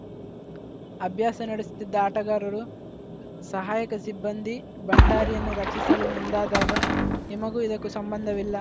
ಅಭ್ಯಾಸ ನಡೆಸುತ್ತಿದ್ದ ಆಟಗಾರರು ಸಹಾಯಕ ಸಿಬ್ಬಂದಿ ಭಂಡಾರಿಯನ್ನು ರಕ್ಷಿಸಲು ಮುಂದಾದಾಗ ನಿಮಗೂ ಇದಕ್ಕೂ ಸಂಬಂಧವಿಲ್ಲ